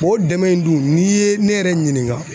O dɛmɛ in dun n'i ye ne yɛrɛ ɲininka